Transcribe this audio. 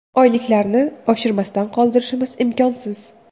Oyliklarni oshirmasdan qoldirishimiz imkonsiz.